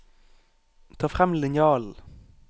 Ta frem linjalen